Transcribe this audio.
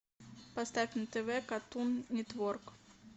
поставь на тв картун нетворк